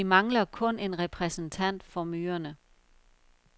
Vi mangler kun en repræsentant for myrerne.